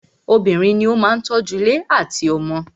Obìnrin ní o máà tọ́ju ilé àtí àwọn ọmọ.